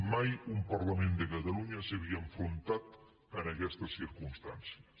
mai un parlament de catalunya s’havia enfrontat a aquestes circumstàncies